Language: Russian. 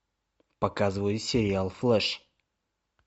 показывай сериал флэш